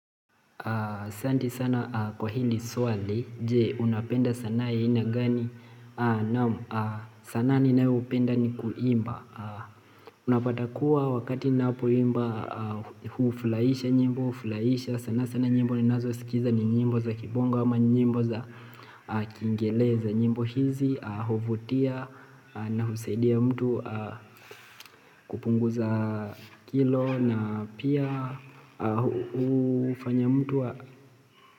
Asanti sana kwa hili swali, je, unapenda sanaa ya aina gani sanaa ninayopenda ni kuimba Unapata kuwa wakati ninapoimba hufurahisha nyimbo, hufurahisha sana sana nyimbo ninazosikiza ni nyimbo za kibongo ama ni nyimbo za kiingereza nyimbo hizi huvutia na husaidia mtu kupunguza kilo na pia hufanya mtu wa.